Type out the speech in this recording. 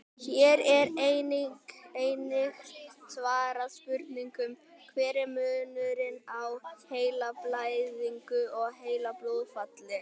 Hér er einnig svarað spurningunum: Hver er munurinn á heilablæðingu og heilablóðfalli?